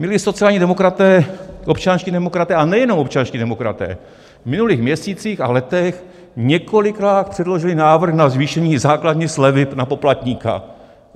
Milí sociální demokraté, občanští demokraté, a nejenom občanští demokraté, v minulých měsících a letech několikrát předložili návrh na zvýšení základní slevy na poplatníka.